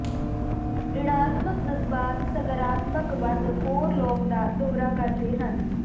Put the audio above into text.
ਰਿਣਾਤਮਕ ਜਜ਼ਬਾਤ ਸਕਾਰਾਤਮਕ ਵੱਧ ਹੋਰ ਲੋਕ ਦਾ ਦੌਰਾ ਕਰਦੇ ਹਨ